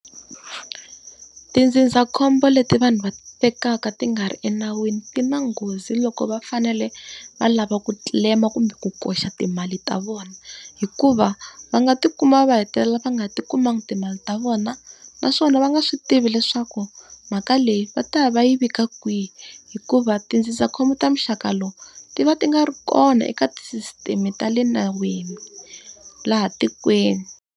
Tindzindzakhombo leti vanhu va ti tekaka ti nga ri enawini ti na nghozi loko va fanele va lava ku claim-a kumbe ku koxa timali ta vona. Hikuva va nga ti kuma va hetelela va nga ti kumangi timali ta vona, naswona va nga swi tivi leswaku mhaka leyi va ta ya va yi vika kwihi. Hikuva tindzindzakhombo ta muxaka lowu, ti va ti nga ri kona eka tisisiteme ta le nawini laha tikweni.